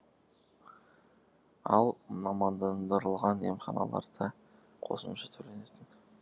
ал мамандандырылған емханаларда қосымша төленетін